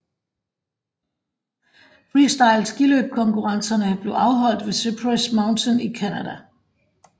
Freestyle skiløb konkurrencerne blev afholdt ved Cypress Mountain i Canada